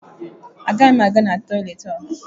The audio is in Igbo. Agaghị m aga na toịletị ọha.